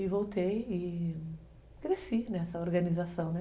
E voltei e cresci nessa organização, né?